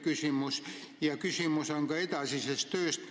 Ja mul on küsimus ka edasise töö kohta.